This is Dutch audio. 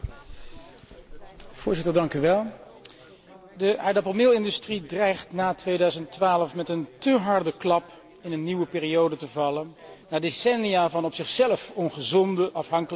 Voorzitter, de aardappelmeelindustrie dreigt na 2012 met een te harde klap in een nieuwe periode te vallen, na decennia van op zichzelf ongezonde afhankelijkheid van subsidies.